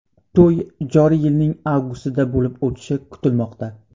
To‘y joriy yilning avgustida bo‘lib o‘tishi kutilmoqda.